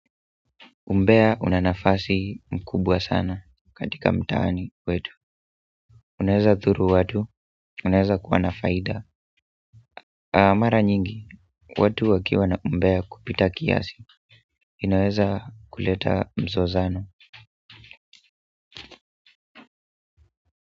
Umbea una nafasi mkubwa sana katika mtaani wetu unaeza dhuru watu unaeza kuwa na faida na mara nyingi, watu wakiwa na umbea kupita kiasi inaweza kuleta mzozano.